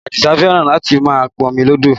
Adisa fẹ́ràn láti máa pọmi lọ́dọ̀